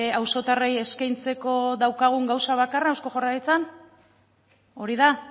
auzotarrei eskaintzeko daukagun gauza bakarra eusko jaurlaritzan hori da